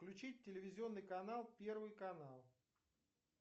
включить телевизионный канал первый канал